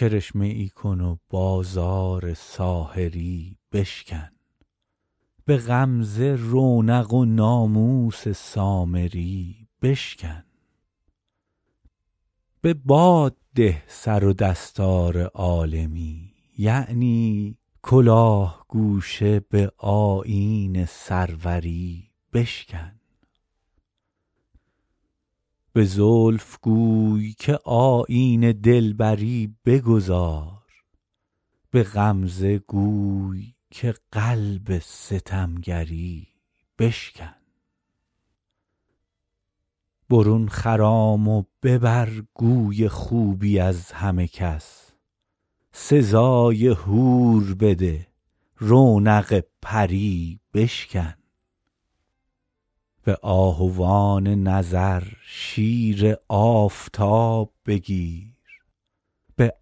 کرشمه ای کن و بازار ساحری بشکن به غمزه رونق و ناموس سامری بشکن به باد ده سر و دستار عالمی یعنی کلاه گوشه به آیین سروری بشکن به زلف گوی که آیین دلبری بگذار به غمزه گوی که قلب ستمگری بشکن برون خرام و ببر گوی خوبی از همه کس سزای حور بده رونق پری بشکن به آهوان نظر شیر آفتاب بگیر به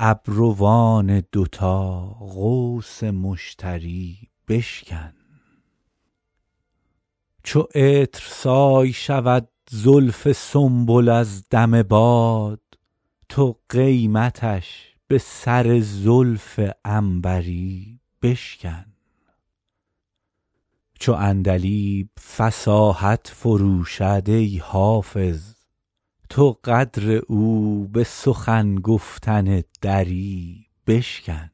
ابروان دوتا قوس مشتری بشکن چو عطرسای شود زلف سنبل از دم باد تو قیمتش به سر زلف عنبری بشکن چو عندلیب فصاحت فروشد ای حافظ تو قدر او به سخن گفتن دری بشکن